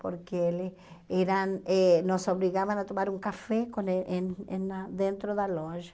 Porque eles eram eh nos obrigavam a tomar um café com e em em na dentro da loja.